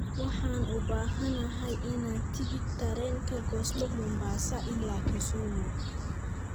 Waxaan u baahanahay inaan tigidh tareen ka goosto mombasa ilaa kisumu